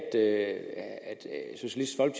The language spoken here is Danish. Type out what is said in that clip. er